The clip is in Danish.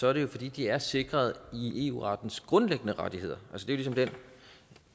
er det jo fordi de er sikret i eu rettens grundlæggende rettigheder det